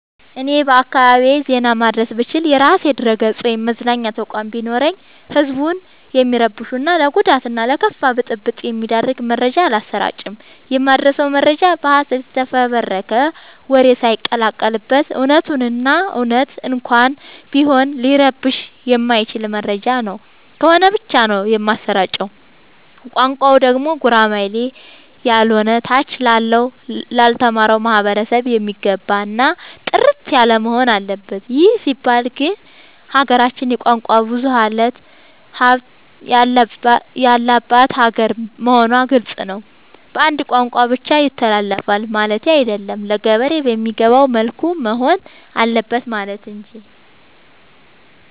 እኔ በአካባቢዬ ዜና ማድረስ ብችል። የራሴ ድረገፅ ወይም መገናኛ ተቋም ቢኖረኝ ህዝብን የሚረብሹ እና ለጉዳት እና ለከፋ ብጥብ የሚዳርግ መረጃ አላሰራጭም። የማደርሰው መረጃ በሀሰት የተፈበረከ ወሬ ሳይቀላቀል በት እውነቱን እና እውነት እንኳን ቢሆን ሊረብሸው የማይችል መረጃ ነው ከሆነ ብቻ ነው የማሰራጨው። ቋንቋው ደግሞ ጉራማይሌ ያሎነ ታች ላለው ላልተማረው ማህበረሰብ የሚገባ እና ጥርት ያለወሆን አለበት ይህ ሲባል ግን ሀገራችን የቋንቋ ብዙሀለት ያለባት ሀገር መሆኗ ግልፅ ነው። በአንድ ቋንቋ ብቻ ይተላለፍ ማለቴ አይደለም ለገበሬ በሚገባው መልኩ መሆን አለበት ማለት እንጂ።